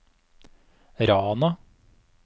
Rana